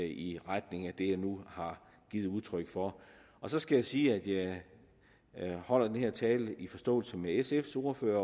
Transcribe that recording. i retning af det jeg nu har givet udtryk for så skal jeg sige at jeg holder den her tale i forståelse med sf’s ordfører